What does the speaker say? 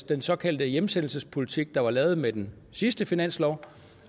den såkaldte hjemsendelsespolitik der blev lavet med den sidste finanslov